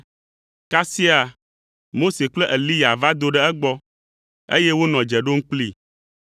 Kasia Mose kple Eliya va do ɖe egbɔ, eye wonɔ dze ɖom kplii.